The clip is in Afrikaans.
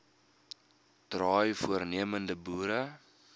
draai voornemende boere